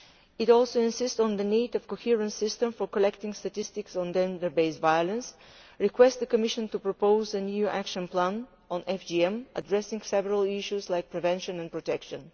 It also insists on the need for a coherent system for collecting statistics on gender based violence and asks the Commission to propose a new action plan on FGM addressing several issues like prevention and protection.